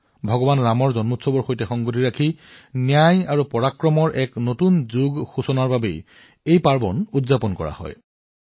ইয়াক ভগৱান ৰামৰ জন্মবাৰ্ষিকী আৰু লগতে ন্যায় আৰু বীৰত্বৰ এক নতুন যুগৰ আৰম্ভণি হিচাপেও উদযাপন কৰা হয়